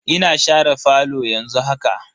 Ina share falo yanzu haka.